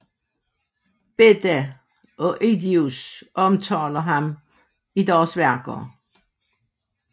Beda og Ediius omtaler ham i deres værker